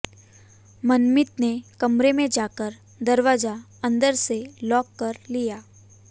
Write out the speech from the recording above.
मनमीत ने कमरे में जाकर दरवाजा अंदर से लॉक कर लिया